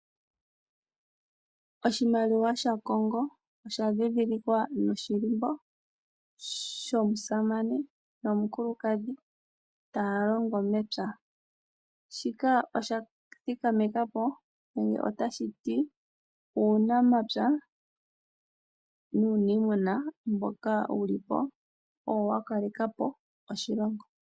Oshimaliwa shaKongo osha dhidhilikwa noshilimbo shomusamane nomukulukadhi taya longo mepya. Shika osha thikameka po nenge otashi ti uunamapya nuuniimuna mboka wuli po owo wa kale kapo oshilongo.